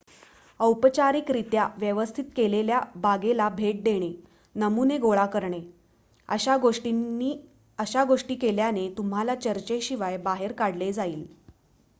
"औपचारिकरित्या व्यवस्थित केलेल्या बागेला भेट देणे "नमुने" गोळा करणे अशा गोष्टी केल्याने तुम्हाला चर्चेशिवाय बाहेर काढले जाईल.